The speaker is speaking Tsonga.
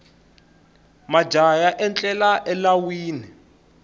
majaha ya etlela elawini